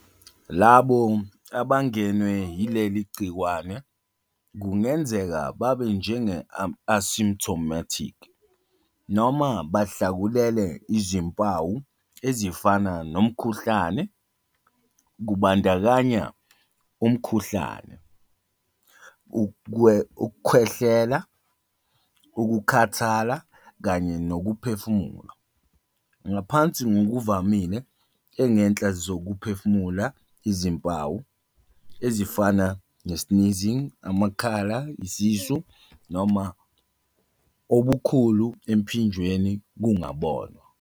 Labo abangenwe yileli gciwane kungenzeka babe njenge- asymptomatic noma bahlakulele izimpawu ezifana nomkhuhlane, kubandakanya umkhuhlane, ukukhwehlela, ukukhathala kanye nokuphefumula. Ngaphansi ngokuvamile, engenhla zokuphefumula izimpawu, ezifana sneezing, amakhala yisisu, noma obukhulu emphinjeni kungabonwa.